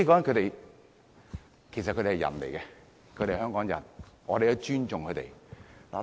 同性戀者都是人，是香港人，我們尊重他們。